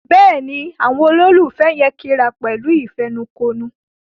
Béèni Àwọn ololufẹ yén kí àrà wón pẹ̀lú ìfẹnukonu.